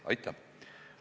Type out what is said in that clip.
Aitäh!